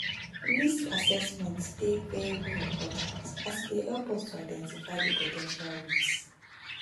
risk assessment dey very important as e dey help us to identify di po ten tial risks